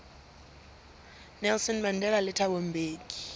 nelson mandela le thabo mbeki